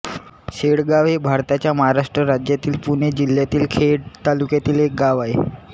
शेळगाव हे भारताच्या महाराष्ट्र राज्यातील पुणे जिल्ह्यातील खेड तालुक्यातील एक गाव आहे